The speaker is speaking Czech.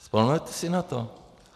Vzpomenete si na to?